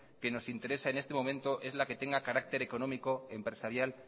que nos interesa en este momento es la que tenga carácter económico empresarial